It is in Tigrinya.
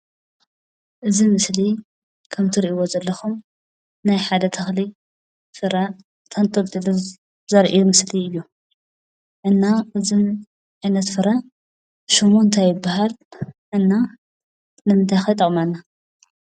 እዚ ምስሊ ከም እትርእይዎ ዘለኹም ናይ ሓደ ተኽሊ ፍረ ተንጠልጢሉ ዘርኢ ምስሊ እዩ። እና እዚ ዓይነት ፍረ ሽሙ እንታይ ይባሃል? እና ንምንታይ ኸ ይጠቕመና?